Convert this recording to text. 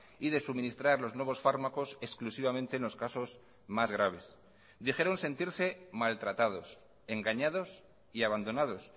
y de suministrar los nuevos fármacos exclusivamente en los casos más graves dijeron sentirse maltratados engañados y abandonados